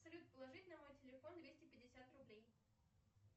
салют положи на мой телефон двести пятьдесят рублей